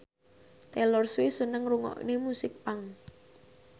Taylor Swift seneng ngrungokne musik punk